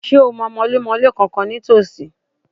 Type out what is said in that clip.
Ṣé o mọ mọlémọlé kànkan ní tòsí?